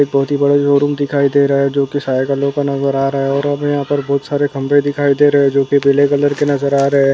एक बहोत ही बड़ा शोरुम दिखाय दे रहा है जोकि साइकिलों का नजर आ रहा है और यहाँ पे बहोत सारे खंभे दिखायी दे रहे हैं जोकि पीले कलर के नजर आ रहे हैं।